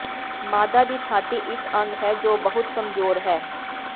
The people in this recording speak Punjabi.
ਮਾਦਾ ਦੀ ਛਾਤੀ ਇੱਕ ਅੰਗ ਹੈ ਜੋ ਬਹੁਤ ਕਮਜ਼ੋਰ ਹੈ